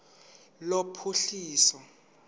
lophuhliso